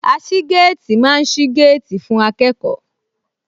Aṣígéètì máa ń sí géètì fún akẹ́kọ̀ọ́